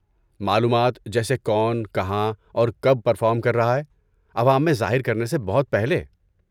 معلومات جیسے کون کہاں اور کب پرفارم کر رہا ہے عوام میں ظاہر کرنے سے بہت پہلے؟